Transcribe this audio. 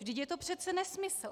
Vždyť je to přece nesmysl.